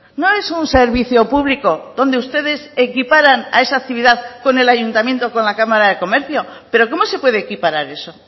no es un servicio público donde ustedes equiparan a esa actividad con el ayuntamiento o con la cámara de comercio pero cómo se puede equiparar eso